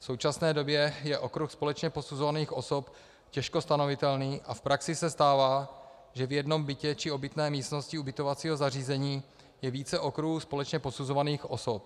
V současné době je okruh společně posuzovaných osob těžko stanovitelný a v praxi se stává, že v jednom bytě či obytné místnosti ubytovacího zařízení je více okruhů společně posuzovaných osob.